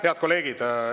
Head kolleegid!